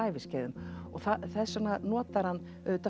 æviskeiðum og þess vegna notar hann